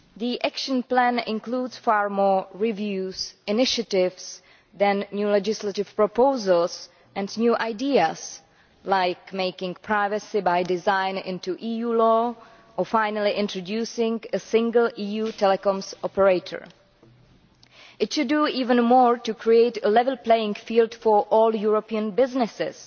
The action plan includes far more reviews and initiatives than new legislative proposals and new ideas, such as making privacy by design into EU law, or finally introducing a single EU telecoms operator. It should do even more to create a level playing field for all European businesses,